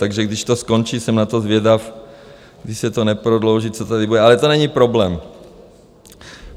Takže když to skončí, jsem na to zvědav, když se to neprodlouží, co tady bude, ale to není problém.